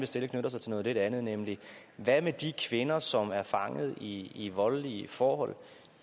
stille knytter sig til noget lidt andet nemlig hvad med de kvinder som er fanget i i voldelige forhold og